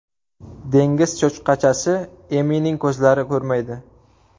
Dengiz cho‘chqachasi Emining ko‘zlari ko‘rmaydi.